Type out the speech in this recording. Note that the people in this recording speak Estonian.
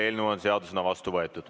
Eelnõu on seadusena vastu võetud.